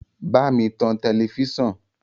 Bámi tan tẹlẹfísàn!